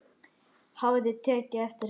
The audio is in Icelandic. Hafði tekið eftir henni.